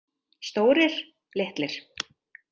Stórir, litlir.